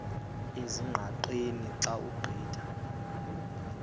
ezingqaqeni xa ugqitha